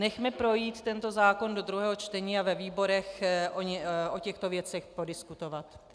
Nechme projít tento zákon do druhého čtení a ve výborech o těchto věcech podiskutovat.